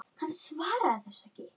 Hann svaraði þessu ekki.